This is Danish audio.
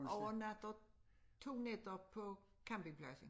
Overnatter 2 nætter på campingpladsen